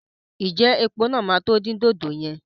Ǹjẹ́ epo náà máa tó di dòdò yẹn?